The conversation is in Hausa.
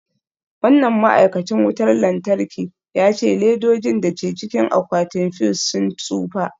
Wannan ma'aikacin wutar lantarki ya ce ledojin da ke cikin akwatin fuse sun tsufa.